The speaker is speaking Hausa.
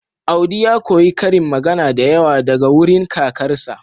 Audi ya koyi karin magana da yawa daga wurin kakarsa